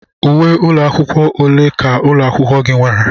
Uwe ụlọ akwụkwọ ole ka ụlọ akwụkwọ gị nwere?